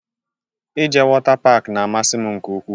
Ị jee wota pak n'amasi m nke ukwuu